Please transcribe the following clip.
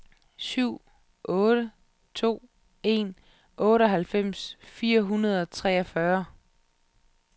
syv otte to en otteoghalvfems fire hundrede og treogfyrre